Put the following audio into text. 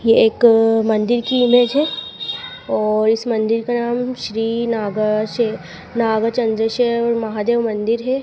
ये एक मंदिर की इमेज है और इस मंदिर का नाम श्री नागा से नागा चंद्ररेश्वर महादेव मंदिर है।